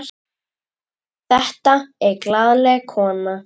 Þetta er glaðleg kona.